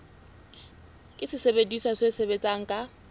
ke sesebediswa se sebetsang ka